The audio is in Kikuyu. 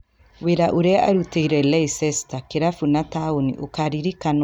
Wĩra ũrĩa arutĩire Leicester - kĩrabu na taũni - ũkaririkanwo tene na tena.